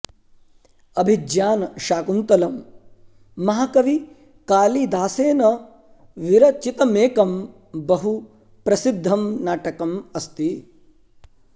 अभिज्ञान शाकुन्तलम् महाकवि कालिदासेन विरचितमेकं बहु प्रसिद्धं नाटकम् अस्ति